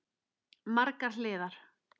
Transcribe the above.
Margar hliðar.